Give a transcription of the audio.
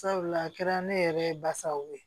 Sabula a kɛra ne yɛrɛ ye basaw ye